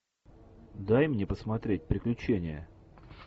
дай мне посмотреть приключения